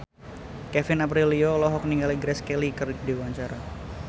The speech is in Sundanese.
Kevin Aprilio olohok ningali Grace Kelly keur diwawancara